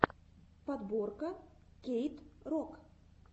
подборка кейт рок